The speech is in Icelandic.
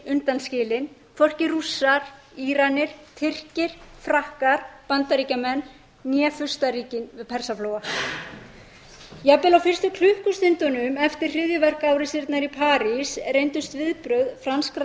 undanskilinn hvorki rússar íranar tyrkir frakkar bandaríkjamenn né furstaríkin við persaflóa jafnvel á fyrstu klukkustundunum eftir hryðjuverkaárásirnar í parís reyndust viðbrögð franskra